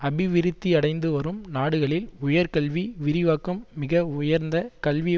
அபிவிருத்தியடைந்துவரும் நாடுகளில் உயர்கல்வி விரிவாக்கம் மிக உயர்ந்த கல்வி